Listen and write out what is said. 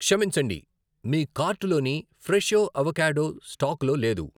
క్షమించండి, మీ కార్టులోని ఫ్రెషో అవొకాడో స్టాకులో లేదు.